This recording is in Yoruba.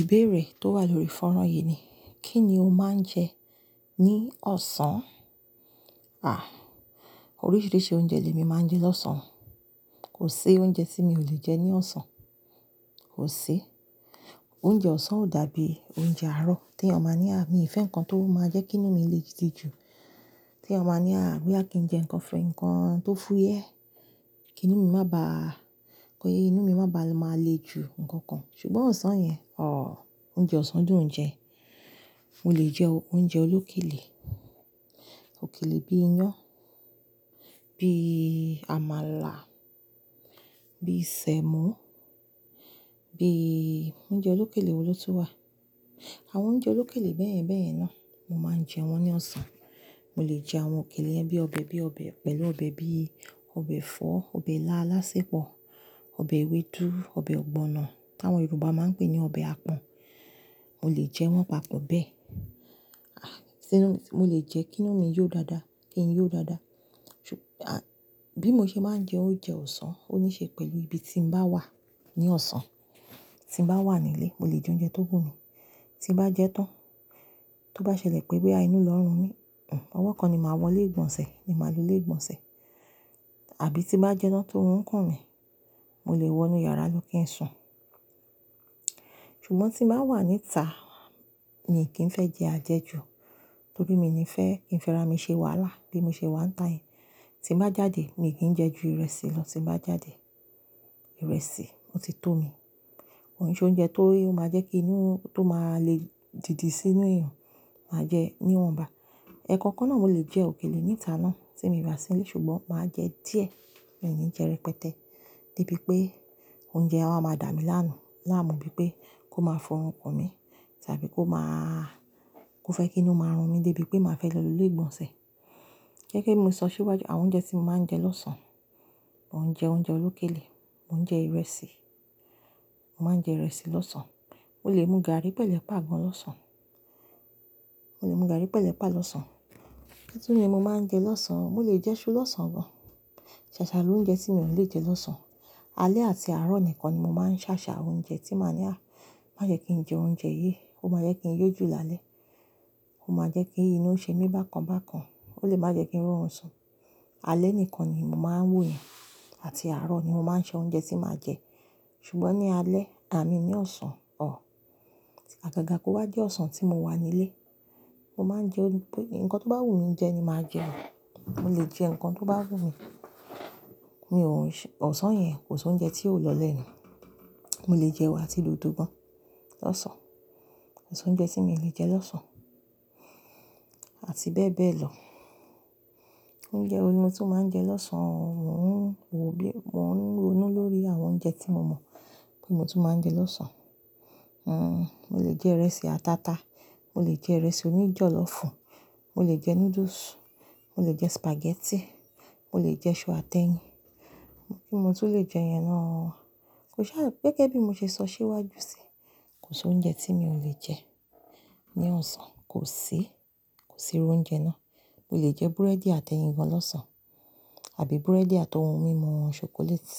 Ìbéèrè tó wà lórí fọ́nrán yìí ni, kí ni o máa ń jẹ ní ọ̀sán? À, oríṣiríṣi oúnjẹ ni èmi máa ń jẹ lọ́sàn-án. Kò sí oúnjẹ tí mi ò le jẹ ní ọ̀sán. Kò sí. Oúnjẹ ọ̀sán ò dàbí oúnjẹ àárọ̀ tí ẹ máa ní, à mi fẹ́ nǹkan tó máa jẹ́ kí inú mi lè dìde jù. Tí ẹ máa ní, à wí akín jẹ nǹkan fún nǹkan tó fúyẹ́. Kí inú mi má ba, kó yé inú mi má ba lè máa le jù ǹkan kan. Ṣùgbọ́n ọ̀sán yẹn, ọ̀ọ́ oúnjẹ ọ̀sán dùn jẹ. Mo lè jẹ oúnjẹ olókèlè. Òkèlè bí i iyán, bí i àmàlà, bí i sẹ̀mọ́, bí i oúnjẹ olókèlè wo ló tún wà. Àwọn oúnjẹ olókèlè bẹ́ẹ̀yẹn bẹ́ẹ̀yẹn náà, mo máa ń jẹ wọ́n ní ọ̀sán. Mo lè jẹ àwọn òkèlè yẹn bí i ọbẹ̀, bí i ọbẹ̀ pẹ̀lú ọbẹ̀ bí i ọbẹ̀ ẹ̀fọ́, ọbẹ̀ aláálásépọ̀, ọbẹ̀ ewédú, ọbẹ̀ ọ̀gbọ̀nà tí àwọn Yorùbá máa ń pè ní ọbẹ̀ apọ̀n. Mo lè jẹ wọ́n papọ̀ bẹ́ẹ̀. A, ṣé mo lè jẹ kí inú mi yó dáadáa, kí n yó dáadáa. Ṣù, à bí mo ṣe máa ń jẹ oúnjẹ ọ̀sán ó níí ṣe pẹ̀lú ibi tí mo bá wà ní ọ̀sán. Tí mo bá wà nílé, mo lè jẹ oúnjẹ tó gùn mí. Tí bá jẹ tán, tó bá ṣẹlẹ̀ pé wí pé à inú lọ run mí, nǹ, ọwọ́ kan ni màá wọlé ìgbọ̀nsẹ̀ ni màá lo lé ìgbọ̀nsẹ̀. Àbí tí bá jẹ tán tó wù nkún mi, mo lè wọ inú yàrá ló kí n sùn. Ṣùgbọ́n tí mo bá wà níta, mi kì í fẹ́ jẹ àjẹjù. Nítorí mi ní fẹ́, ìfẹ́ra mi ṣe wàhálà bí mo ṣe wà níta yìí. Tí mo bá jáde, mi kì í jẹ ju ìrẹsì lọ tí mo bá jáde. Ìrẹsì, mo ti tó mi. Òun ni ṣé oúnjẹ tó máa jẹ́ kí inú tó máa le dìde sínú èèyàn, màá jẹ níwọ̀nba. Ẹ̀ẹ̀kọ̀kọ́ náà mo lè jẹ òkèlè níta náà tí mo rà sílé ṣùgbọ́n màá jẹ díẹ̀. Mi ò ní jẹ rẹpẹtẹ. Nibí pé oúnjẹ á máa dà mí lánu. Lámu bíi pé kó máa fọrun kún mi tàbí kó máa, kó fẹ́ kí inú máa run mi dé bí pé màá fẹ́ lọ lé ìgbọ̀nsẹ̀. Jẹ́ kí mo sọ síwájú àwọn oúnjẹ tí mo máa ń jẹ lọ́sán. Mo ń jẹ oúnjẹ olókèlè, mo ń jẹ ìrẹsì. Mo máa ń jẹ ìrẹsì lọ́sán. Mo lè mú gàrí pẹ̀lú páì gan lọ́sán. Mo lè mú gàrí pẹ̀lú páì lọ́sán. Bítúni mo máa ń jẹ lọ́sán, mo lè jẹ iṣu lọ́sán gan. Ṣàṣà ló ń jẹ tí mi ò lè jẹ lọ́sán. Alẹ́ àti àárọ̀ nìkan ni mo máa ń ṣàṣà oúnjẹ tí màá ní, à má jẹ́ kí n jẹ oúnjẹ yìí, ó máa jẹ́ kí n yó jù lálẹ́. Ó máa jẹ́ kí inú ṣe mí bákan bákan. Ó lè máa jẹ́ kí n rọrùn sàn. Alẹ́ nìkan ni mo máa ń wòó yan àti àárọ̀ ni mo máa ń ṣọ oúnjẹ tí màá jẹ. Ṣùgbọ́n ní alẹ́, à mi ní ọ̀sán, ọ̀ọ́. Agaga kó wá jẹ́ ọ̀sán tí mo wà nílé, mo máa ń jẹ ń pé nǹkan tó bá wù mí jẹ ni màá jẹ. Mo lè jẹ nǹkan tó bá wù mí. Mi ò ń ṣe, ọ̀sán yẹn kò sí oúnjẹ tí yóò lọlẹ̀ nù. Mo lè jẹ ewé àti lódò gan lọ́sán. Kò sí oúnjẹ tí mi ò lè jẹ lọ́sán àti bẹ́ẹ̀ bẹ́ẹ̀ lọ. Oúnjẹ wo ni mo tún máa ń jẹ lọ́sán? Mò ń wò ó lé, mo ń ronú lórí àwọn oúnjẹ tí mo mọ̀ pé mo tún máa ń jẹ lọ́sán. N n, mo lè jẹ ìrẹsì ataata, mo lè jẹ ìrẹsì oníjọ́lọ́fùn, mo lè jẹ noodles, mo lè jẹ spaghetti, mo lè jẹ iṣu atẹ́yìn. Bí mo tún lè jẹ yẹn náà. Kò ṣà, gẹ́gẹ́ bí mo ṣe sọ síwájú síi, kò sí oúnjẹ tí mi ò lè jẹ ní ọ̀sán. Kò sí. Kò sí irú oúnjẹ náà. Mo lè jẹ búrẹ́dì atẹ́yìn gan lọ́sán àbí búrẹ́dì àti ohun mímu chocolate